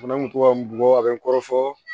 Fana kun tora n kɔ a bɛ n kɔrɔ fɔ